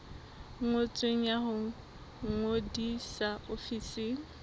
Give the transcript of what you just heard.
ngotsweng ya ho ngodisa ofising